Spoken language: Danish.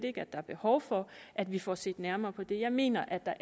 ikke at der er behov for at vi får set nærmere på det jeg mener